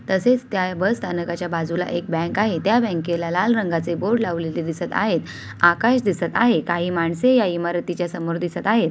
तसेच त्या बसस्थानकाच्या बाजूला एक बँक आहे त्या बँकेला लाल रंगाचे बोर्ड दिसत आहेत. आकाश दिसत आहे काही माणसे या इमारतीच्या समोर दिसत आहे.